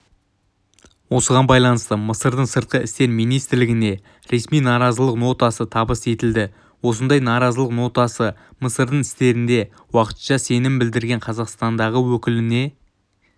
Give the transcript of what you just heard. осыған байланысты мысырдың сыртқы істер министрлігіне ресми наразылық нотасы табыс етілді осындай наразылық нотасы мысырдың істерінде уақытша сенім білдірген қазақстандағы өкіліне